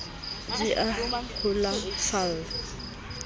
di a o sulafalla ha